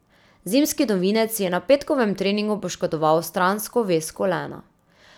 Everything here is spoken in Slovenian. Zimski novinec si je na petkovem treningu poškodoval stransko vez kolena.